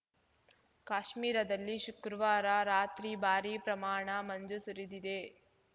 ಕಾಶ್ಮೀರದಲ್ಲಿ ಶುಕ್ರವಾರ ರಾತ್ರಿ ಭಾರೀ ಪ್ರಮಾಣ ಮಂಜು ಸುರಿದಿದೆ